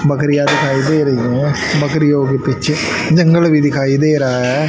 बकरियां दिखाई दे रही है बकरियों के पीछे जंगल भी दिखाई दे रहा है।